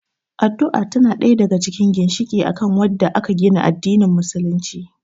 Addu'a tana ɗaya daga cikin ginshiƙi akan wadda aka gina addanin musulunci